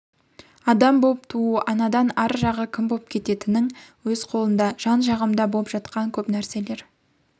адам боп туу-анадан ар жағы кім боп кететінің-өз қолыңда жан жағымда боп жатқан көп нәрселер